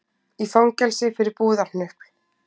Í fangelsi fyrir búðarhnupl